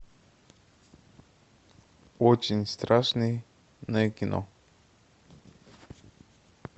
очень страшное кино